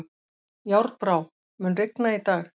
Járnbrá, mun rigna í dag?